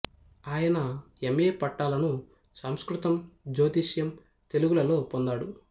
ఆయన M A పట్టాలను సంస్కృతం జ్యోతిషం తెలుగు లలో పొందాడు